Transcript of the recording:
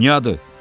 Dünyadır.